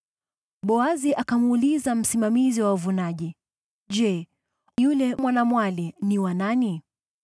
Boazi akamuuliza msimamizi wa wavunaji, “Je, yule mwanamwali ni wa nani?”